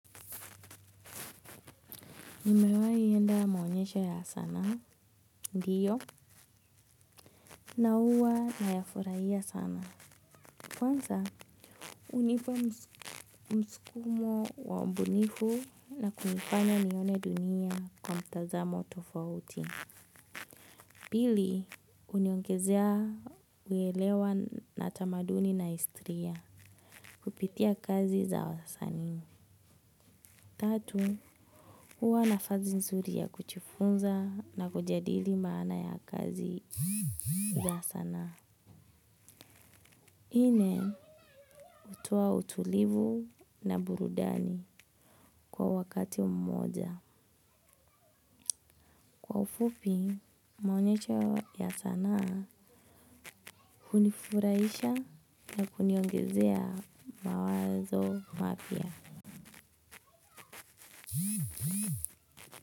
Nimewai enda maonyesha ya sanaa, ndiyo, na huwa nayafuraia sana. Kwanza, unipa mskumo wa mbunifu na kunifanya nione dunia kwa mtazamo tofauti. Pili, uniongezea uwelewa na tamaduni na histiria kupitia kazi za wasanii. Tatu, huwa nafazi nzuri ya kuchifunza na kujadili maana ya kazi za sanaa. Nne, hutoa utulivu na burudani kwa wakati mmoja. Kwa ufupi, maunyesho ya sanaa hunifuraisha na kuniongezea mawazo mapya.